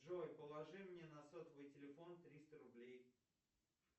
джой положи мне на сотовый телефон триста рублей